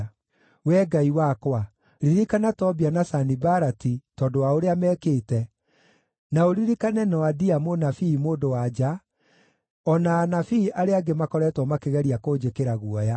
Wee Ngai wakwa, ririkana Tobia na Sanibalati tondũ wa ũrĩa mekĩte, na ũririkane Noadia mũnabii mũndũ-wa-nja, o na anabii arĩa angĩ makoretwo makĩgeria kũnjĩkĩra guoya.